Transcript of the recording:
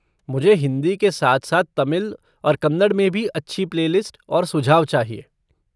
मुझे हिंदी के साथ साथ तमिल और कन्नड़ में भी अच्छी प्ले लिस्ट और सुझाव चाहिए।